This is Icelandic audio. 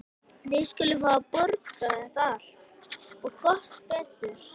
Þið skuluð fá að borga þetta allt. og gott betur!